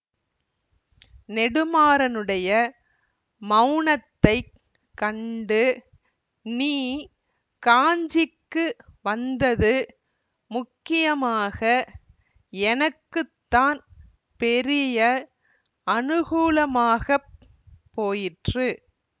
நெடுமாறனுடைய மௌனத்தைக் கண்டு நீ காஞ்சிக்கு வந்தது முக்கியமாக எனக்கு தான் பெரிய அனுகூலமாகப் போயிற்று